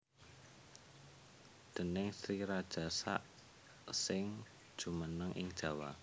Déning Sri Rajasa sing jumeneng ing Jawa